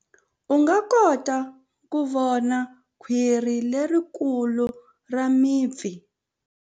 U nga kota ku vona khwiri lerikulu ra mipfi.